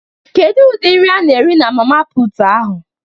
Kedu ụdịdị nri ana ere na mama puutu ahụ?